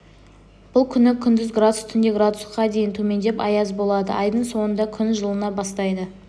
бұл күні күндіз градус түнде градусқа дейін төмендеп аяз болады айдың соңында күн жылына бастайды